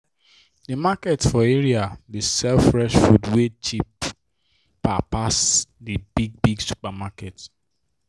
the market for area dey sell fresh food way cheaper pass the big big supermarket